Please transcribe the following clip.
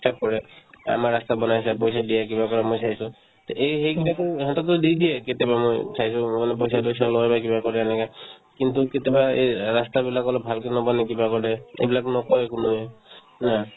কৰে আমাৰ ৰাস্তা বনাইছা পইচা দিয়ে কিবা কৰে মই চাইছো তে এই সেইকেইটাকো ইহঁতকতো দি দিয়ে কেতিয়াবা মই চাইছো অলপ পইচা-চইছা লই বা কিবা কৰে এনেকা কিন্তু কেতিয়াবা এই ৰাস্তা বিলাক অলপ ভালকে নবনাই কিবা কৰে এইবিলাক নকই কোনোয়ে না